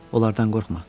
Onlardan qorxma.